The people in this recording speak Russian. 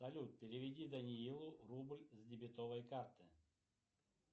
салют переведи даниилу рубль с дебетовой карты